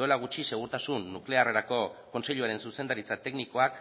duela gutxi segurtasun nuklearrerako kontseiluaren zuzendaritza teknikoak